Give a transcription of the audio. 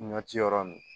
Ɲɔ ci yɔrɔ nunnu